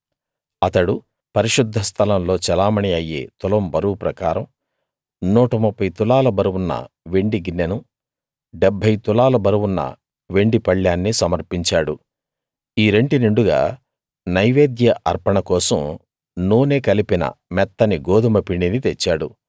అతడు పరిశుద్ధ స్థలంలో చెలామణీ అయ్యే తులం బరువు ప్రకారం 130 తులాల బరువున్న వెండి గిన్నెనూ 70 తులాల బరువున్న వెండి పళ్ళేన్నీ సమర్పించాడు ఈ రెంటి నిండుగా నైవేద్య అర్పణ కోసం నూనె కలిపిన మెత్తని గోదుమ పిండిని తెచ్చాడు